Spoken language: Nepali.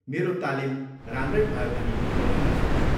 मेरो तालिम राम्रै भयो भनी म भन्नसक्छु।